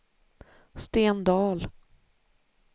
Sten Dahl